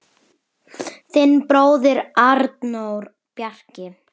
Þinn bróðir, Arnór Bjarki.